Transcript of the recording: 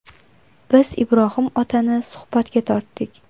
Biz Ibrohim otani suhbatga tortdik.